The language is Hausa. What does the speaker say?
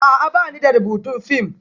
A'a, ba ni da rubutun fim